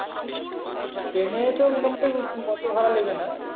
train এ তো মোটামুটি এত ভাড়া নিবে না